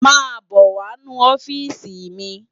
Má bò wá nú òfisi mi